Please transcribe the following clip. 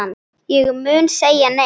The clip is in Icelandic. Ég mun segja nei.